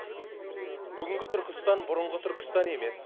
бүгінгі түркістан бұрынғы түркістан емес